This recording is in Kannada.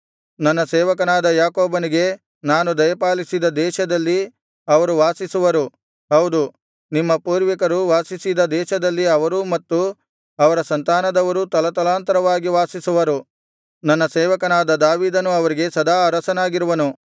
ನನ್ನ ಸೇವಕನಾದ ಯಾಕೋಬನಿಗೆ ನಾನು ದಯಪಾಲಿಸಿದ ದೇಶದಲ್ಲಿ ಅವರು ವಾಸಿಸುವರು ಹೌದು ನಿಮ್ಮ ಪೂರ್ವಿಕರು ವಾಸಿಸಿದ ದೇಶದಲ್ಲಿ ಅವರೂ ಮತ್ತು ಅವರ ಸಂತಾನದವರೂ ತಲತಲಾಂತರವಾಗಿ ವಾಸಿಸುವರು ನನ್ನ ಸೇವಕನಾದ ದಾವೀದನು ಅವರಿಗೆ ಸದಾ ಅರಸನಾಗಿರುವನು